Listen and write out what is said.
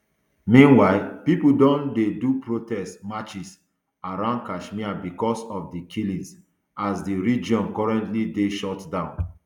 meanwhile pipo don dey do protest marches around kashmir bicos of di killings as di region currently dey shutdown